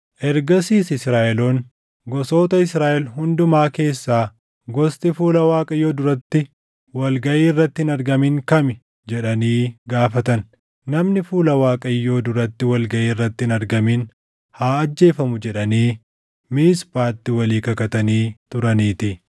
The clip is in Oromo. Ergasiis Israaʼeloonni, “Gosoota Israaʼel hundumaa keessaa gosti fuula Waaqayyoo duratti wal gaʼii irratti hin argamin kami?” jedhanii gaafatan. Namni fuula Waaqayyoo duratti wal gaʼii irratti hin argamin haa ajjeefamu jedhanii Miisphaatti walii kakatanii turaniitii.